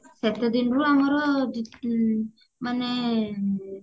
ସେତେ ଦିନରୁ ଆମର ଡ ମାନେ